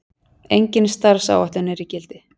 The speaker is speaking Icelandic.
Engin starfsáætlun er í gildi.